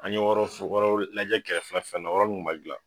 An ɲe ajɛ kɛrɛfɛ fɛ nun na olu ma gilan